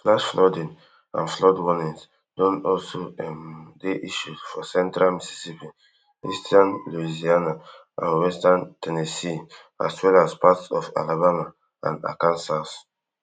flash flooding and flood warnings don also um dey issued for central mississippi eastern louisiana and western ten nessee as well as parts of alabama and arkansas